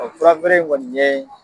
Furafeere in kɔni ye